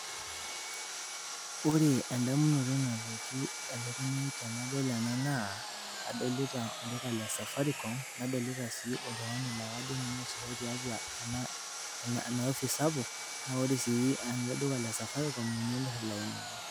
Ore enfamunoto nalotu elukunya ai tenadol ena naa, adolita olduka le Safaricom nadolita sii oltungani laa kajo ninye oosiaho tiatua ena opis sapuk naa ore sii eleduka le safaricom ninye omir ilainini